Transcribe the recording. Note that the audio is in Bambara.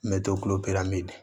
N bɛ to kulopiramin